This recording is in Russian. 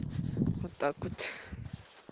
вот так вот